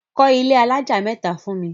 Kọ́ ilé alájà mẹ́ta fún mi!